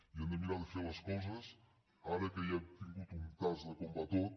i hem de mirar de fer les coses ara que ja hem tingut un tast de com va tot